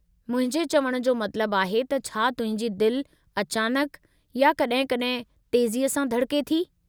मुंहिंजे चवणु जो मतिलबु आहे त छा तुंहिंजी दिलि अचानक या कॾहिं कॾहिं तेज़ीअ सां धड़के थी?